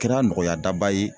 Kɛra nɔgɔyadaba ye